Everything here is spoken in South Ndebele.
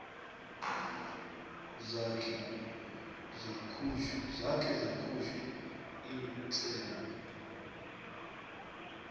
zakhe zakhutjhwa kutsengo